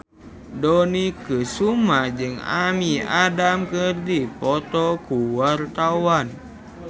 Dony Kesuma jeung Amy Adams keur dipoto ku wartawan